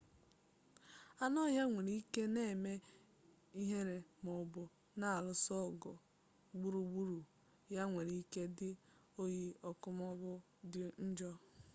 anụ ọhịa nwere ike na-eme ihere maọbụ na-alụso ọgụ gburugburu ya nwere ike dị oyi ọkụ maọbụ dị njọ